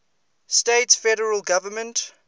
states federal government